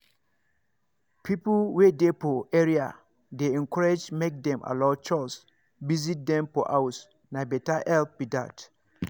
people wey dey for area dey encouraged make dem allow chws visit dem for house na better help be that.